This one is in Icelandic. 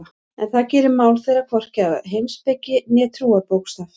En það gerir mál þeirra hvorki að heimspeki né trúarbókstaf.